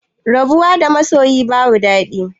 Rabuwa da masoyi babu dadi